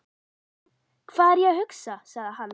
Hvað er ég að hugsa? sagði hann.